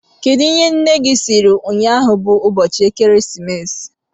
Kedụ ihe nne gị sịrị ụnyaahụ bụ ụbọchị Ekeresimesi?